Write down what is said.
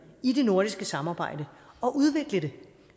i det nordiske samarbejde og udvikle det